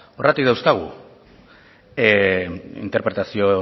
horregatik dauzkagu interpretazio